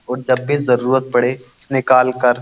और जब भी जरुरत पड़े निकाल कर --